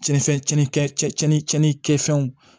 Cɛn cɛn cɛn cɛn fɛnw